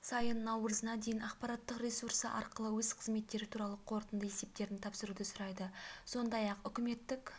сайын наурызына дейін ақпараттық ресурсы арқылы өз қызметтері туралы қорытынды есептерін тапсыруды сұрайды сондай-ақ үкіметтік